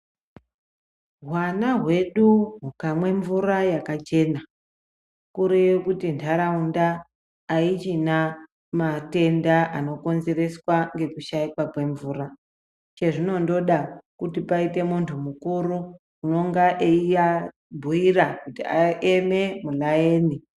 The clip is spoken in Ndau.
Hwana hwedu hukamwe mvura yakachena kureye kuti ntharaunda haichina matenda anokonzereswa ngokushaikwa kwemvura. Chezvinondoda kuti paite munthu mukuru unonga eiabhuyira kuti aeme mulayeni.